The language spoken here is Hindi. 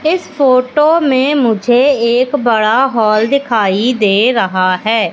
इस फोटो में मुझे एक बड़ा हॉल दिखाई दे रहा है।